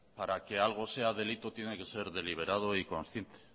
para que algo sea delito tiene que ser deliberado y consciente